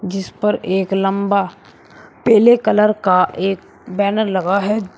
जिस पर एक लंबा पीले कलर का एक बैनर लगा है।